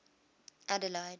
adeleide